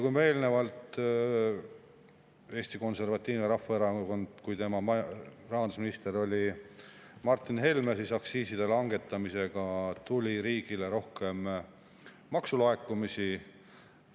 Eelnevalt, kui Eesti Konservatiivse Rahvaerakonna rahandusminister oli Martin Helme, siis aktsiiside langetamisega tuli riigile rohkem maksulaekumisi.